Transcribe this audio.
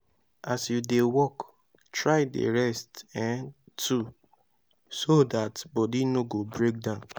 as yu dey work try dey rest um too so dat body no go break down